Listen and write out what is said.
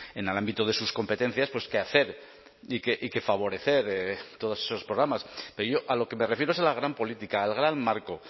en el ámbito de sus competencias pues qué hacer y qué favorecer todos esos programas pero yo a lo que me refiero es a la gran política al gran marco